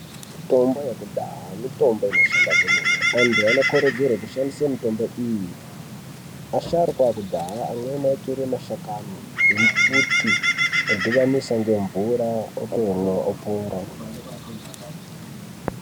Mitombo yekudhaya mitombo ino shanda kwemene antu ano kurudzirwe kushandise mitombo iyi asharuka ekudhaya amweni ayi tore mashakani embuti odhibanisa nge mvura otomwa opora.